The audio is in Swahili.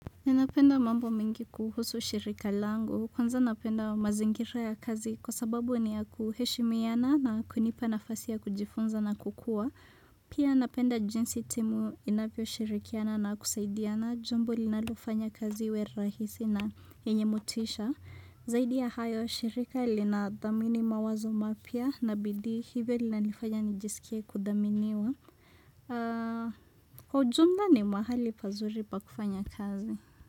Ninapenda mambo mingi kuhusu shirika langu, kwanza napenda mazingira ya kazi kwa sababu ni ya kuheshimiana na kunipa nafasi ya kujifunza na kukua. Pia napenda jinsi timu inavyo shirikiana na kusaidiana, jambo linalofanya kazi iwe rahisi na yenye motisha. Zaidi ya hayo, shirika linadhamini mawazo mapya na bidii hivyo linanifanya nijisikie kudhaminiwa. Kwa ujumla ni mahali pazuri pa kufanya kazi.